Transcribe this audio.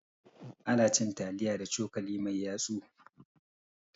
Anacin taliya da cokali mai yatsu